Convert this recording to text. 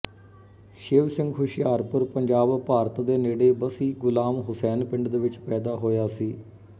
ਸ਼ਿਵ ਸਿੰਘ ਹੁਸ਼ਿਆਰਪੁਰ ਪੰਜਾਬ ਭਾਰਤ ਦੇ ਨੇੜੇ ਬੱਸੀ ਗੁਲਾਮ ਹੁਸੈਨ ਪਿੰਡ ਵਿੱਚ ਪੈਦਾ ਹੋਇਆ ਸੀ